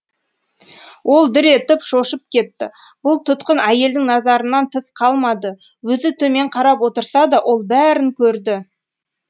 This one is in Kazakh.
ол дір етіп шошып кетті бұл тұтқын әйелдің назарынан тыс қалмады өзі төмен қарап отырса да ол бәрін көрді